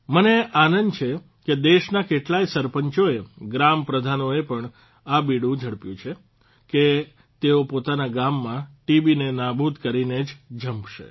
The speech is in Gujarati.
મને આનંદ છે કે દેશના કેટલાય સરપંચોએ ગ્રામ પ્રધાનોએ પણ આ બીડું ઝડપ્યું છે કે તેઓ પોતાના ગામમાં ટીબીને નાબૂદ કરીને જ જંપશે